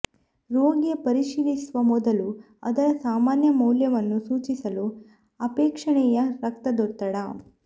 ರೋಗಿಯ ಪರಿಶೀಲಿಸುವ ಮೊದಲು ಅದರ ಸಾಮಾನ್ಯ ಮೌಲ್ಯವನ್ನು ಸೂಚಿಸಲು ಅಪೇಕ್ಷಣೀಯ ರಕ್ತದೊತ್ತಡ